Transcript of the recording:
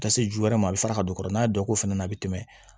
Ka se ju wɛrɛ ma a bɛ fara ka don kɔrɔ n'a ye dɔ ko fana a bɛ tɛmɛ